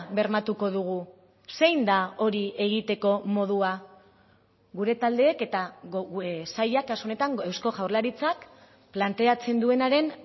bermatuko dugu zein da hori egiteko modua gure taldeek eta sailak kasu honetan eusko jaurlaritzak planteatzen duenaren